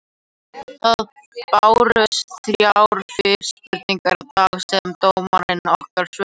Það bárust þrjár fyrirspurnir í dag sem dómararnir okkar svöruðu.